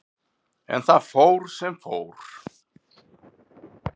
En það fór sem fór.